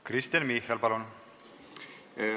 Kristen Michal, palun!